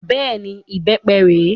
Bẹ́ẹ̀ni, ìbépe rè é